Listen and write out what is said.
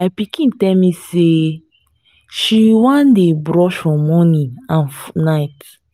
my pikin tell me say she wan dey brush for morning and night